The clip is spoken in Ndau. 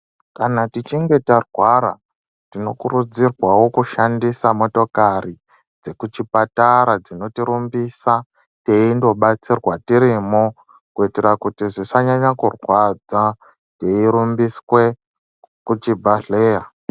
Kana tichinge tarwara tino kurudzirwawo kushandisa motokari dze kuchi patara dzinoti rumbisa teindo batsirwa tirimo kuitira kuti zvisa nyanya kurwadza tei rumbiswe ku chibhadhleya.